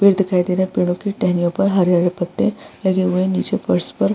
फिर दिखाई देरा पेड़ों की टहनियों पर हरे-हरे पत्ते लगे हुए हैं नीचे फर्श पर।